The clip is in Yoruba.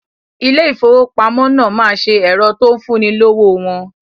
Ilé ìfowópamọ́ náà ma ṣe ẹ̀rọ tó ń fún ni lówó wọn